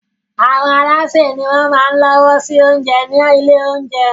Àwọn alásè ni wọ́n máa se oúnjẹ ní àwọn ilé-oúnjẹ.